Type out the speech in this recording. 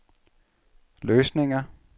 løsninger